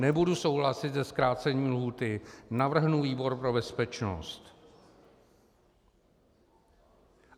Nebudu souhlasit se zkrácením lhůty, navrhnu výbor pro bezpečnost.